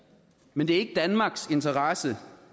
men det er ikke i danmarks interesse